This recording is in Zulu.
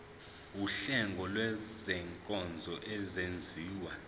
wuhlengo lwezinkonzo ezenziwa